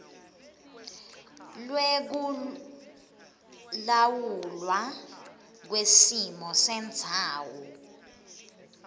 lwekulawulwa kwesimo sendzawo